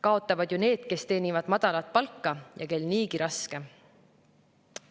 Kaotavad ju need, kes teenivad madalat palka ja kel niigi raske.